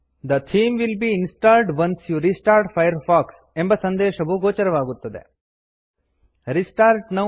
the theme will be installed once you restart Firefox the theme will be installed once you restart Firefox ಎಂಬ ಸಂದೇಶ ಗೋಚರವಾಗುತ್ತದೆ